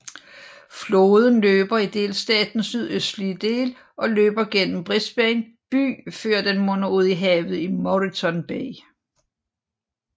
Floden løber i delstatens sydøstlige del og løber gennem Brisbane by før den munder ud i havet i Moreton Bay